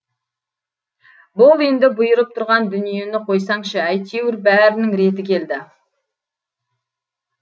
бұл енді бұйырып тұрған дүниені қойсаңшы әйтеуір бәрінің реті келді